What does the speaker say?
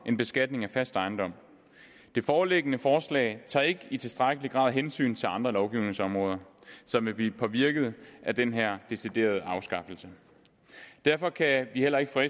end beskatning af fast ejendom det foreliggende forslag tager ikke i tilstrækkelig grad hensyn til andre lovgivningsområder som vil blive påvirket af den her deciderede afskaffelse derfor kan vi heller ikke fra